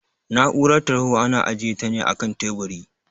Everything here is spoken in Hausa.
Na'urar tarho ana ajiyeta ne akan teburi